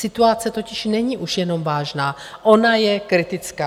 Situace totiž není už jenom vážná, ona je kritická.